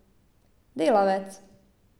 Delavec.